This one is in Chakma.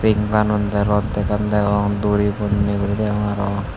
banut degong degong duri bonney guri degong aro.